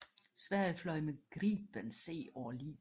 Sverige fløj med Gripen C over Libyen